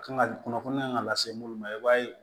Kan ka kunnafoniya lase minnu ma i b'a ye